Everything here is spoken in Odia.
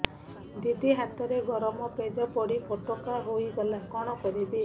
ଦିଦି ହାତରେ ଗରମ ପେଜ ପଡି ଫୋଟକା ହୋଇଗଲା କଣ କରିବି